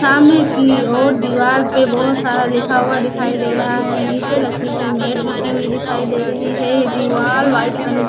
सामने की ओर दीवार पे बहोत सारा लिखा हुआ दिखाई दे रहा है नीचे लकड़ी की मेट बिछी हुई दिखाई दे रही है दीवार व्हाइट रंग --